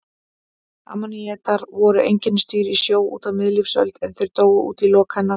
Ammonítar voru einkennisdýr í sjó á miðlífsöld en þeir dóu út í lok hennar.